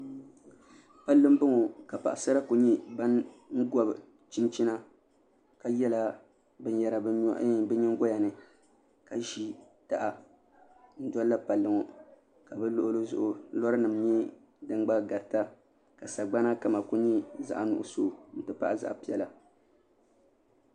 Palli n bɔŋɔ ka paɣasara ku nyɛ bin gobi chinchina ka yɛla binyɛra bi nyingoya ni ka ʒi taha n dolila palli ŋɔ ka bi luɣuli zuɣu lora nim nyɛ din gba garita ka sagbana kama ku nyɛ zaɣ nuɣso n ti pahi zaɣ piɛla